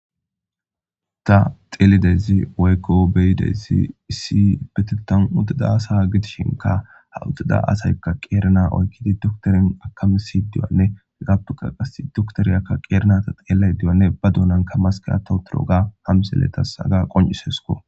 ta xeelidezi wayqo beyidezi issi betetan udida asa gidishinka ha udida asaykka qeerana oykkidi doktorin akamisi diyanne gaptuka qas doktoriyakka qeerna ta qeelay diyanne ba duunanka maskiato duro ga hamseletas haga qoncisesko